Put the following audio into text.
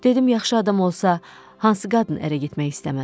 Dedim, yaxşı adam olsa, hansı qadın ərə getmək istəməz?